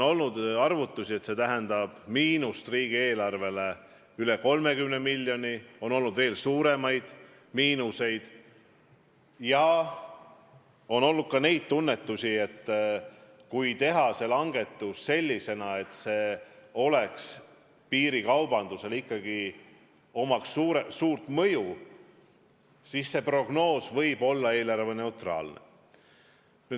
On pakutud, et see tähendab riigieelarvele miinust üle 30 miljoni, on pakutud veel suuremaid miinuseid ja on olnud ka prognoose, et kui teha see langetus sellisena, siis see ikkagi avaldaks piirikaubandusele suurt mõju ja siis see samm võib olla eelarveneutraalne.